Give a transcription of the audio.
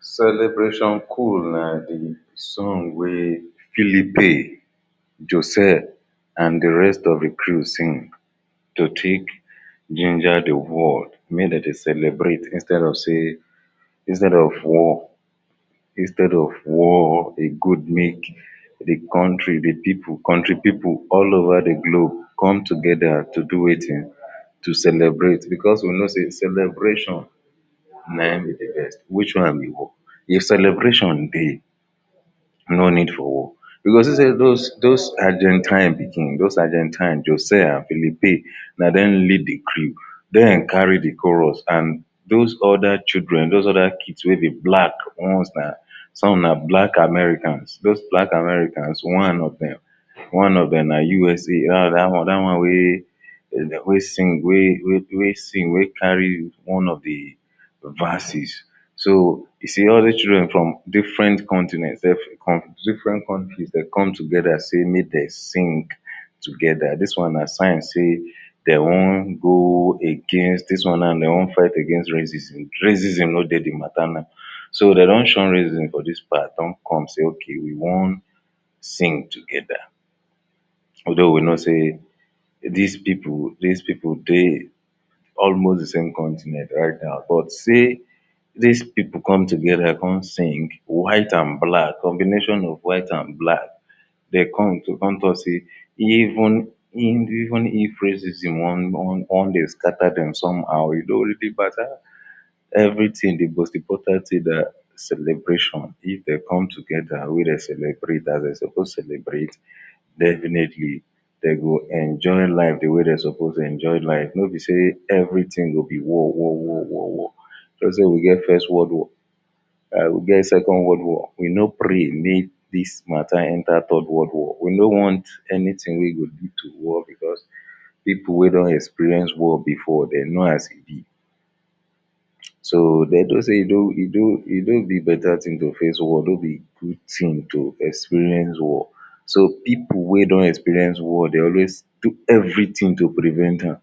celebration cool na the song wey philipe joseph and the rest of hin crew sing to take ginger the world make de dey celebrate instead of sey instead of war instead of war e good make the country the people country people all over the globe come together to do wetin to celebrate because we know sey celebration nayin be the best which one be war if celebration dey no need for war you go see sey those those agentine pikin those agentine josaya and philippine na dem lead the crew dem carry the chorus and those other children those other kid wey be black ones[um]some na black Americans those black Americans one of dem one of dem na USA da one, da one wey de dey wey sing wey wey sing, wey carry one of the verses so, you see all dis children from different continent dem fit come from different country de come together sey mey dem sing together, dis one na sign sey dey wan go against dis one now dey wan fight against racism, racism no dey the matter now so dey don shun racism for dis part don come sey ok, e wan sing together though we know sey dis people, dis people dey almost de same continent right now, but sey dis people come together come sing white and black, combination of white and black dey come to come talk sey even even if racism wan wan dey scatter dem somehow e no really matter everything the most important thing na celebration if dey come together wey dey celebrate as dey suppose to celebrate definitely dey go enjoy life the wey dey suppose to enjoy life no be sey everything go be war war war war war e no sey we get first world war and we get second world war, we no pray mey dis matter enter third world war, we no want anything wey go lead to war because people wey don experience war before de know as e be so, dey know sey e no e no e no be better thing to face war no be good thing to experience war so people wey don experience war dey always do everything to prevent tam